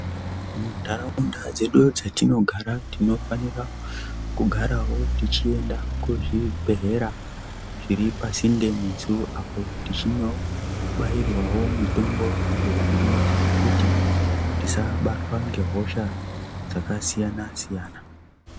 Mu ntaraunda dzedu dzatinogara tinofanira kugarawo tichienda ku zvibhedhlera zviri pasinde nesu apo tichino bairwawo mitombo iyo inoita kuti tisa batwa ne hosha dzaka siyana siyana.